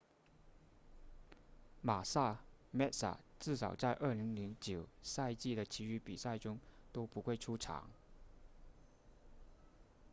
马萨 massa 至少在2009赛季的其余比赛中都不会出场